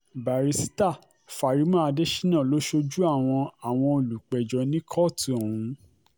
bàrísítà fari·mah adésínà ló ṣojú àwọn àwọn olùpẹ̀jọ́ ní kóòtù ọ̀hún